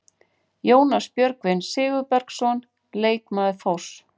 Jónas Björgvin Sigurbergsson, leikmaður Þórs.